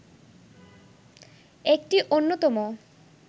একটি অন্যতম